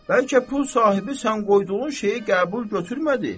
Bəlkə pul sahibi sən qoyduğun şeyi qəbul götürmədi?